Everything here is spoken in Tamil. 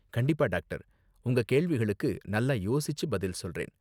கண்டிப்பா, டாக்டர்! உங்க கேள்விகளுக்கு நல்லா யோசிச்சு பதில் சொல்றேன்.